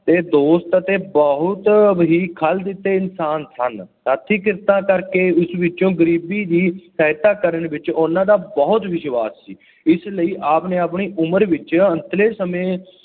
ਅਤੇ ਦੋਸਤ ਅਤੇ ਬਹੁਤ ਹੀ ਖਲ ਦਿਲੇ ਇਨਸਾਨ ਸਨ। ਹੱਥੀਂ ਕਿਰਤਾਂ ਕਰਕੇ ਉਸ ਵਿੱਚੋਂ ਗਰੀਬੀ ਦੀ ਸਹਾਇਤਾ ਕਰਨ ਵਿੱਚ ਉਹਨਾ ਦਾ ਬਹੁਤ ਵਿਸ਼ਵਾਸ ਸੀ। ਇਸ ਲਈ ਆਪ ਨੇ ਆਂਪਣੀ ਉਮਰ ਵਿੱਚ ਅੰਤਲੇ ਸਮੇਂ